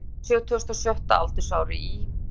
Hann lést á sjötugasta og sjötta aldursári í